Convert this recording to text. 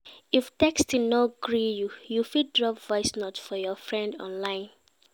If texting no gree you, you fit drop voice note for your friend online